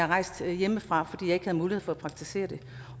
rejst hjemmefra fordi jeg ikke havde mulighed for at praktisere det